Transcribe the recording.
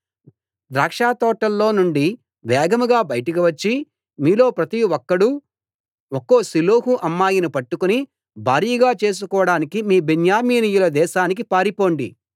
ద్రాక్షతోటల్లో నుండి వేగంగా బయటకు వచ్చి మీలో ప్రతి ఒక్కడూ ఒక్కో షిలోహు అమ్మాయిని పట్టుకుని భార్యగా చేసుకోడానికి మీ బెన్యామీనీయుల దేశానికి పారిపొండి